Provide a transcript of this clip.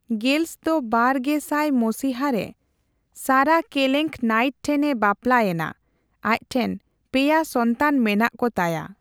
Girls ᱫᱚ ᱵᱟᱨ ᱜᱮ ᱥᱟᱭ ᱢᱚᱥᱤᱦᱟ ᱨᱮ ᱥᱟᱨᱟ ᱠᱮᱞᱮᱸᱜ ᱱᱟᱤᱴ ᱴᱷᱮᱱ ᱮ ᱵᱟᱯᱞᱟᱭ ᱮᱱᱟ ᱾ ᱟᱡᱴᱷᱮᱱ ᱯᱮᱭᱟ ᱥᱚᱱᱛᱟᱱ ᱢᱮᱱᱟᱜ ᱠᱚ ᱛᱟᱭᱟ ᱾